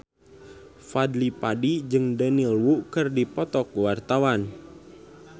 Fadly Padi jeung Daniel Wu keur dipoto ku wartawan